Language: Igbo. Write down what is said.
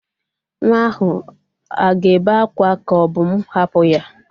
Nwa ahụ a ga-ébé akwa ka o bu m hapu ya?